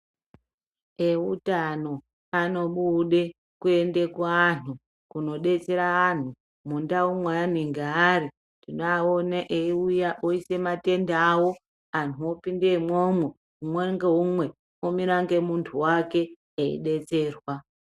Eutano anobude kuende kuantu kunodetsera anhu mundau mweanenge ari. Tinoaona eiuya oise matende awo. Antu opinde imwomwo, umwe ngeumwe omira ngemuntu wake, eidetserwa.